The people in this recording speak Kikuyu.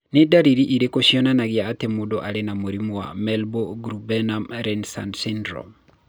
Nĩ ndariri irĩkũ cionanagia atĩ mũndũ arĩ na mũrimũ wa Merlob Grunebaum Reisner syndrome?